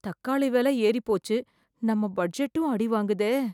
தக்காளி விலை ஏறி போச்சு, நம்ம பட்ஜெட்டும் அடி வாங்குதே.